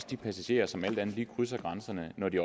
de passagerer som alt andet lige også krydser grænserne når de